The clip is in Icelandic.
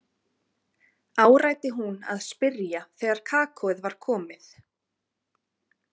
áræddi hún að spyrja þegar kakóið var komið.